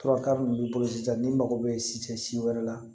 Fura kari ninnu b'i bolo sisan n'i mago bɛ sitɛ si wɛrɛ la